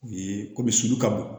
U ye komi sulu ka bon